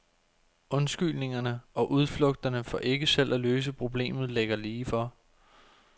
Undskyldningerne og udflugterne for ikke selv at løse problemet ligger lige for.